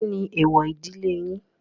Kí ni èwọ̀ ìdílé yín?